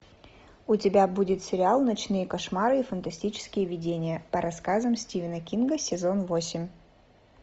у тебя будет сериал ночные кошмары и фантастические видения по рассказам стивена кинга сезон восемь